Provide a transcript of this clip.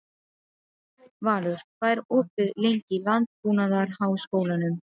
Valur, hvað er opið lengi í Landbúnaðarháskólanum?